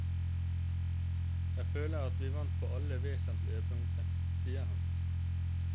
Jeg føler at vi vant på alle vesentlige punkter, sier han.